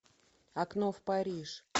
окно в париж